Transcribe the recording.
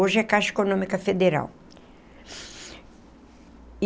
Hoje é Caixa Econômica Federal.